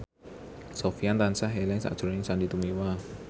Sofyan tansah eling sakjroning Sandy Tumiwa